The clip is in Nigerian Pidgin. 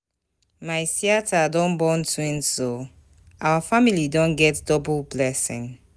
My siata born twins o, our family don get double blessing.